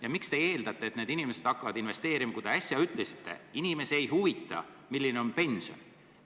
Ja miks te eeldate, et inimesed hakkavad investeerima, kui te äsja ütlesite, et inimesi ei huvita, milline on nende pension?